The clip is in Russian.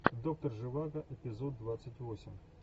доктор живаго эпизод двадцать восемь